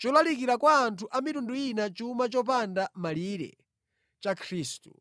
cholalikira kwa anthu a mitundu ina chuma chopanda malire cha Khristu.